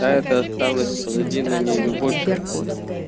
а это осталось позади но не любовь